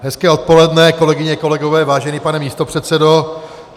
Hezké odpoledne, kolegyně, kolegové, vážený pane místopředsedo.